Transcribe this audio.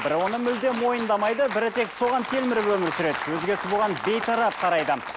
бірі оны мүлдем мойындамайды бірі тек соған телміріп өмір сүреді өзгесі бұған бейтарап қарайды